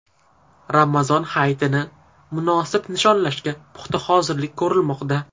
Ramazon hayitini munosib nishonlashga puxta hozirlik ko‘rilmoqda.